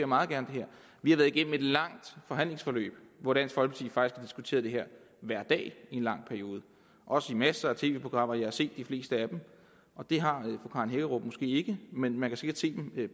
meget gerne vi har været igennem et langt forhandlingsforløb hvor dansk folkeparti diskuteret det her hver dag i en lang periode også i masser af tv programmer jeg har set de fleste af dem og det har fru karen hækkerup måske ikke men man kan sikkert se dem